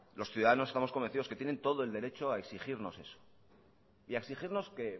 los ciudadanos estamos convencidos de que tienen todo el derecho a exigirnos eso y a exigirnos que